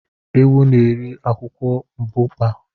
Ewu na-eri akwụkwọ mbukpa